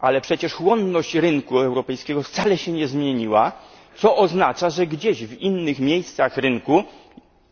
Ale przecież chłonność rynku europejskiego wcale się nie zmieniła, co oznacza, że gdzieś w innych miejscach rynku,